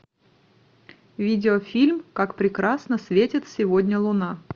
видеофильм как прекрасно светит сегодня луна